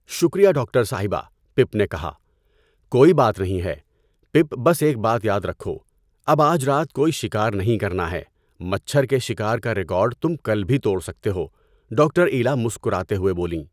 شکریہ ڈاکٹر صاحبہ، پپ نے کہا۔ کوئی بات نہیں ہے، پپ بس ایک بات یاد رکھو، اب آج رات کوئی شکار نہیں کرنا ہے، مچھر کے شکار کا ریکارڈ تم کل بھی توڑ سکتے ہو، ڈاکٹر ایلا مسکراتے ہوئے بولیں۔